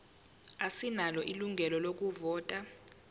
asinalo ilungelo lokuvota